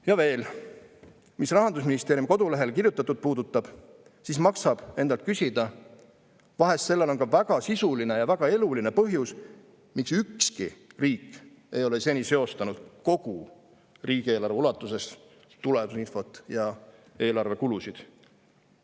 Ja veel, mis Rahandusministeeriumi kodulehel kirjutatut puudutab, siis maksab endalt küsida, vahest on sellel väga sisuline ja väga eluline põhjus, miks ükski riik ei ole seni seostanud kogu riigieelarve ulatuses tulemusinfot ja eelarve kulusid.